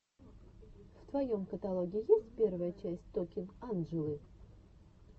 в твоем каталоге есть первая часть токинг анджелы